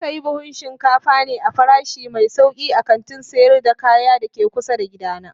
Na sayi buhun shinkafa ne a farashi mai sauki a kantin sayar da kaya da ke kusa da gidana.